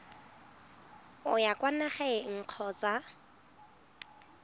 o ya kwa nageng kgotsa